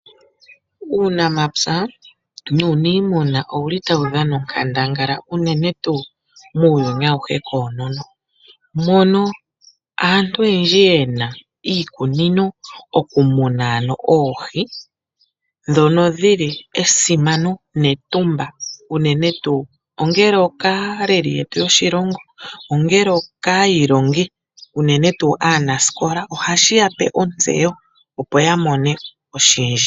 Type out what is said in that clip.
Uunamapya nuuniimuna owuli tawu dhana onkandangala unene tuu muuyuni awuhe koonono, mono aantu oyendji yena iikunino okumuna ano oohi dhono dhili esimano netumba unene tuu ongele okaaleli yetu yoshilongo ongele okaayilongi unene tuu aanasikola ohashi yape ontseyo opo yamone oshindji.